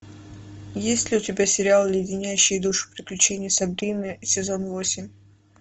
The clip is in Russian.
есть ли у тебя сериал леденящие душу приключения сабрины сезон восемь